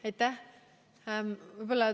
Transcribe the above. Aitäh!